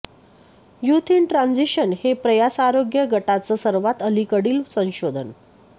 youth in transition हे प्रयासआरोग्य गटाचं सर्वात अलीकडील संशोधन